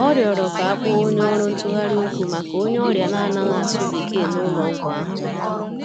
Ọ rịọrọ ka a kpoo onye ọrụ ntụgharị okwu maka onye ọrịa na-anaghị asụ Bekee n'ụlọ ọgwụ ahụ.